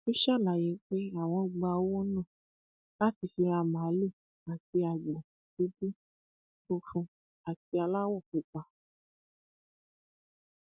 ó ṣàlàyé pé àwọn gba owó náà láti fi ra màálùú àti agbo dúdú funfun àti aláwọ pupa